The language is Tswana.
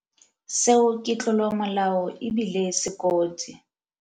Seo ke tlolomolao e bile se kotsi.